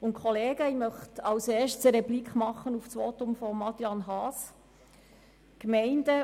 Als Erstes möchte ich eine Replik auf das Votum von Adrian Haas geben.